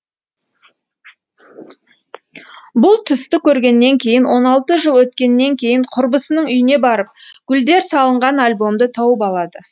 бұл түсті көргеннен кейін он алты жыл өткеннен кейін құрбысының үйіне барып гүлдер салынған альбомды тауып алады